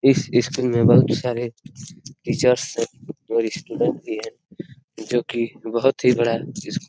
इस स्कूल मे बहोत सारे टीचर्स हैं और स्टूडेंट्स हैं जो की बहोत ही बड़ा --